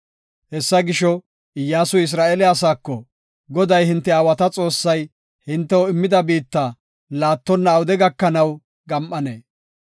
Hessa gisho, Iyyasuy Isra7eele asaako, “Goday hinte aawata Xoossay hintew immida biitta laattonna awude gakanaw gam7anee?